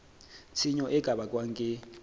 tshenyo e ka bakwang ke